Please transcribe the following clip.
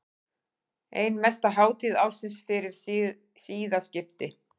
Ein mesta hátíð ársins fyrir siðaskipti.